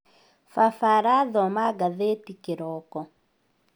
Baba arathoma gathetĩ kĩroko